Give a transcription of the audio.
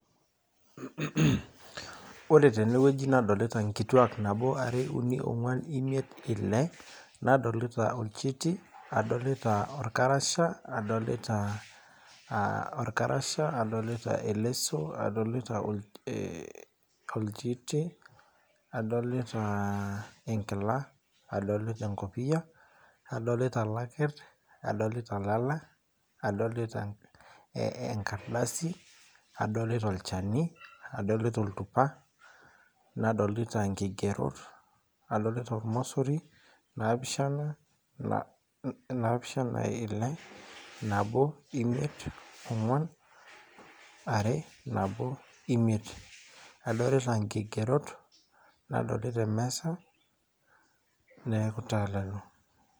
Ore tenewueji nadolita nkituak nabo, are, uni ,ongwan , imiet , ile , nadolita olchiti , nadolita orkarasha , nadolita eleso, adolita enkila , adolita enkopiyia , adolita ilakir, adolita ilala , adolita enkaradasi , adolita olchani , adolita oltupa , nadolita nkigerot , adolita ormosori , napishana , ile , nabo , imiet , ongwan , are , nabo ,imiet , nadolita emesa , niaku taa lelo.